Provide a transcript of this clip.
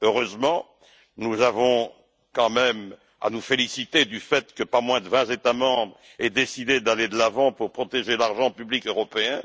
Heureusement, nous avons quand même à nous féliciter du fait que pas moins de vingt États membres aient décidé d'aller de l'avant pour protéger l'argent public européen.